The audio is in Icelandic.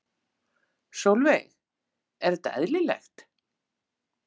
Sólveig: Er þetta eðlilegt?